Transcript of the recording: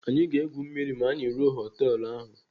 Anyị ga-egwu mmiri ma anyị ruo họtelu ahụ.